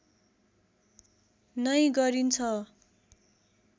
नै गरिन्छ